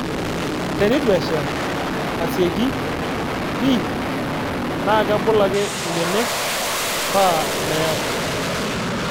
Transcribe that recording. Tenetu esha asieki pii naa kebul ake ibenek paa meeku